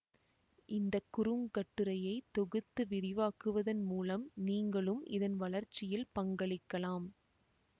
இந்த குறுங்கட்டுரையை தொகுத்து விரிவாக்குவதன் மூலம் நீங்களும் இதன் வளர்ச்சியில் பங்களிக்கலாம்